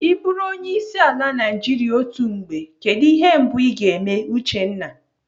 I bụrụ onyeisiala Naijiria otu mgbe, kedụ ihe mbụ Ị ga-eme Uchenna?